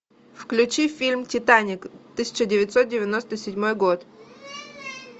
включи фильм титаник тысяча девятьсот девяносто седьмой год